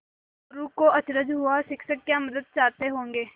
मोरू को अचरज हुआ शिक्षक क्या मदद चाहते होंगे